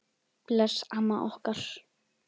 Bless amma okkar.